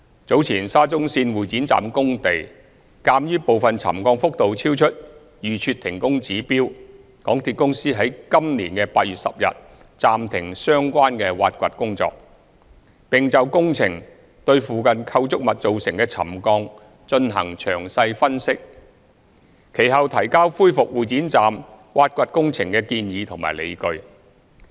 早前沙中線會展站工地，鑒於部分沉降幅度超出預設停工指標，港鐵公司於今年8月10日暫停相關挖掘工程，並就工程對附近構築物造成的沉降進行詳細分析，其後提交恢復會展站挖掘工程的建議及理據。